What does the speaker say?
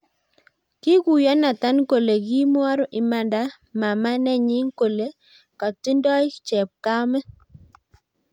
kiguyo Nathan kole ka kimwor imanda mamanenyi kole ka kitindoi chepkamet